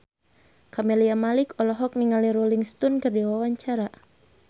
Camelia Malik olohok ningali Rolling Stone keur diwawancara